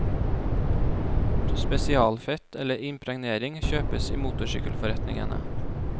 Spesialfett eller impregnering kjøpes i motorsykkelforretningene.